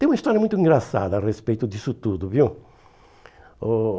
Tem uma história muito engraçada a respeito disso tudo, viu? Oh